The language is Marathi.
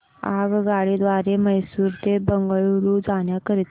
आगगाडी द्वारे मैसूर ते बंगळुरू जाण्या करीता